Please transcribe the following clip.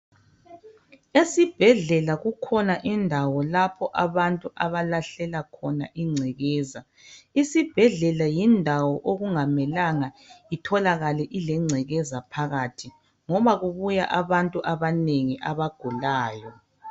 Esibhedlela kukhona indawo lapho abantu abalahlela khona ingcekeza. Isibhedlela yindawo okungamelanga itholakale ilengcekeza phakathi ngoba kubuya abantu abanengi abagulayo.